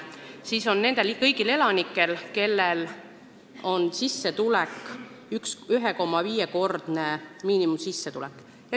See on mõeldud kõigile elanikele, kes saavad kuni 1,5-kordset miinimumsissetulekut.